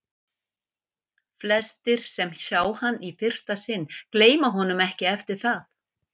Flestir, sem sjá hann í fyrsta sinn, gleyma honum ekki eftir það.